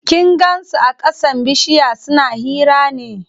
Kin gan su a ƙasan bishiya suna hira ne?